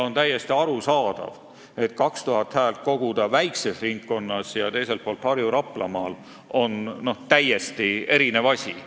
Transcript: On täiesti arusaadav, et koguda 2000 häält väikses ringkonnas või suurel Harju- ja Raplamaal on kaks eri asja.